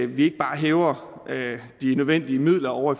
vi ikke bare hæver de nødvendige midler ovre